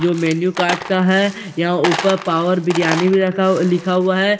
जो menu cart का है यहाँ ऊपर पावर बिरयानी भी रखा हुआ लिखा हुआ है इसके--